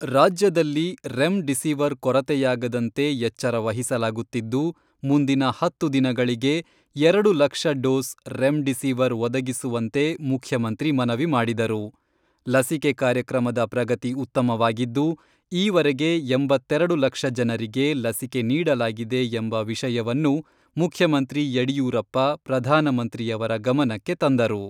ರಾಜ್ಯದಲ್ಲಿ remdesivir ಕೊರತೆಯಾಗದಂತೆ ಎಚ್ಚರ ವಹಿಸಲಾಗುತ್ತಿದ್ದು, ಮುಂದಿನ ಹತ್ತು ದಿನಗಳಿಗೆ ಎರಡು ಲಕ್ಷ ಡೋಸ್ ರೆಮ್ಡಿಸಿವಿರ್ ಒದಗಿಸುವಂತೆ ಮುಖ್ಯಮಂತ್ರಿ ಮನವಿ ಮಾಡಿದರು.ಲಸಿಕೆ ಕಾರ್ಯಕ್ರಮದ ಪ್ರಗತಿ ಉತ್ತಮವಾಗಿದ್ದು, ಈ ವರೆಗೆ ಎಂಬತ್ತೆರೆಡು ಲಕ್ಷ ಜನರಿಗೆ ಲಸಿಕೆ ನೀಡಲಾಗಿದೆ ಎಂಬ ವಿಷಯವನ್ನು ಮುಖ್ಯಮಂತ್ರಿ ಯಡಿಯೂರಪ್ಪ ಪ್ರಧಾನಮಂತ್ರಿಯವರ ಗಮನಕ್ಕೆ ತಂದರು.